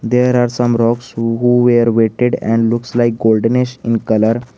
there are some rocks who we weighted and looks like goldanish in colour